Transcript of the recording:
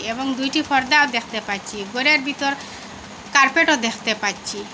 এবং দুইটি পর্দা দ্যাখতে পাইছি ঘরের বিতর কার্পেটও দ্যাখতে পাচ্ছি।